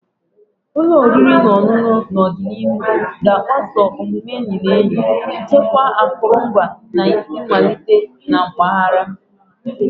Ụlọ oriri na ọṅụṅụ n'ọdịnihu ga-agbaso omume enyi na enyi, chekwaa akụrụngwa, na isi mmalite na mpaghara.